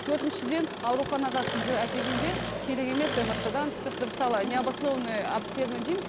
төртіншіден ауруханаға сізді әкелгенде керек емес мрт дан түсіп мысалы не обоснованный обследование дейміз